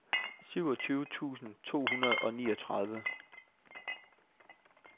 syvogtyve tusind to hundrede og niogtredive